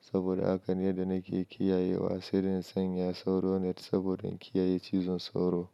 saboda haka ne da nake kiyayewa sai da in sanya sauro net saboda kiyaye cizon sauro.